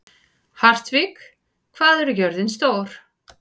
Hartvig, hvað er jörðin stór?